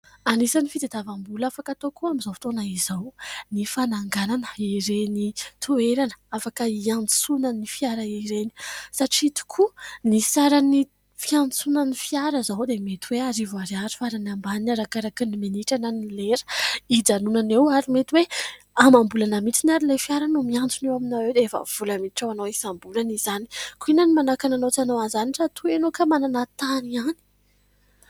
Anisany fitadiavam-bola afaka atao koa amin'izao fotoana izao ny fananganana ireny toerana afaka hiantsonan'ny fiara ireny ; satria tokoa ny saran'ny fiantsonan'ny fiara izao dia mety hoe arivo ariary farany ambany arakaraka ny minitra na ny lera ijanonana eo ary mety hoe amam-bola na mitsiny ary ilay fiara no miantsona eo aminareo dia efa vola miditra ho anao isam-bolana izany, koa inona ny manakana anao tsy hanao an'izany raha toa ianao ka manana tany ihany.